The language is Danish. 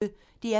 DR P1